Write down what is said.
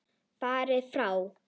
Farið frá!